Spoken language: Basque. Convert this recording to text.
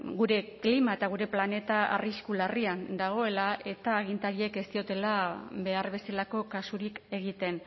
gure klima eta gure planeta arrisku larrian dagoela eta agintariek ez diotela behar bezalako kasurik egiten